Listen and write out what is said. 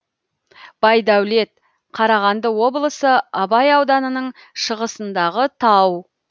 байдәулет қарағанды облысы абай ауданының шығысындағы тау